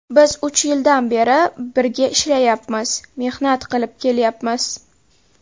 Biz uch yildan beri birga ishlayapmiz, mehnat qilib kelyapmiz.